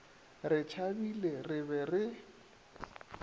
re tšhabile re be re